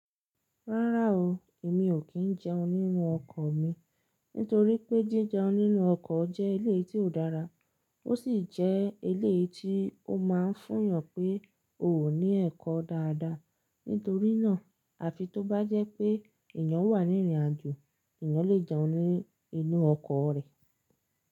Rárá o, èmi ò kí n jẹun nínú ọkọ̀ mi. Nítorí pé jí jẹun nínú ọkọ̀ jẹ́ ilé tí ò dára. Ó sì jẹ́ ilé tí ó máa ń fún yàn pé o ò ní ẹ̀kọ́ dáadáa. Nítorí náà, à fi tó bá jẹ́ pé èyàn wà ní ìrìnàjò, èyàn lè jẹun nínú inú ọkọ̀ rẹ̀.